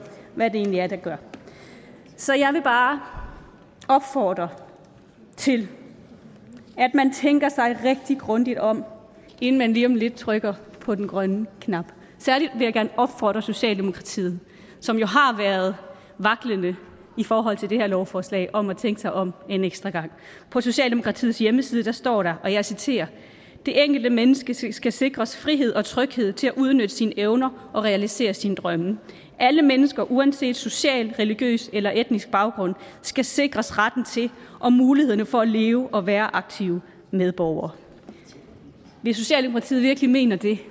hvad det egentlig er det gør så jeg vil bare opfordre til at man tænker sig rigtig grundigt om inden man lige om lidt trykker på den grønne knap særlig vil jeg gerne opfordre socialdemokratiet som jo har været vaklende i forhold til det her lovforslag om at tænke sig om en ekstra gang på socialdemokratiets hjemmeside står der og jeg citerer det enkelte menneske skal skal sikres frihed og tryghed til at udnytte sine evner og realisere sine drømme alle mennesker uanset social religiøs eller etnisk baggrund skal sikres retten til og mulighederne for at leve og være aktive medborgere hvis socialdemokratiet virkelig mener det